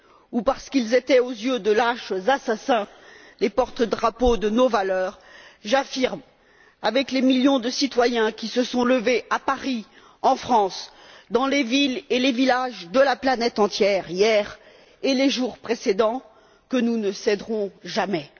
ou parce qu'ils étaient aux yeux de lâches assassins les porte drapeaux de nos valeurs, j'affirme avec les millions de citoyens qui se sont levés à Paris, en France, dans les villes et les villages de la planète entière, hier et les jours précédents, que nous ne céderons jamais.